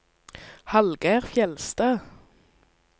Hallgeir Fjeldstad